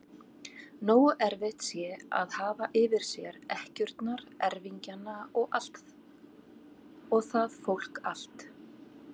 Nógu erfitt sé að hafa yfir sér ekkjurnar, erfingjana og það fólk allt!